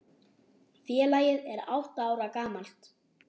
Félagið er átta ára gamalt.